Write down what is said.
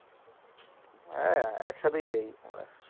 হ্যাঁ একসাথেই যাই আমরা,